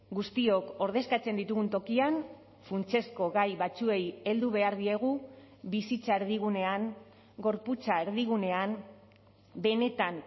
guztiok ordezkatzen ditugun tokian funtsezko gai batzuei heldu behar diegu bizitza erdigunean gorputza erdigunean benetan